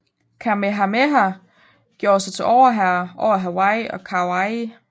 Kamehameha gjorde sig til overherre over Hawaii og Kauai